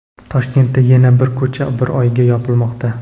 Toshkentda yana bir ko‘cha bir oyga yopilmoqda.